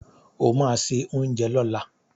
O ma se oúnjẹ lọ́la!